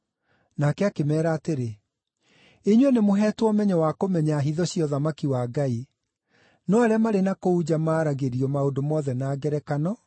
Nake akĩmeera atĩrĩ, “Inyuĩ nĩmũheetwo ũmenyo wa kũmenya hitho cia ũthamaki wa Ngai. No arĩa marĩ na kũu nja maaragĩrio maũndũ mothe na ngerekano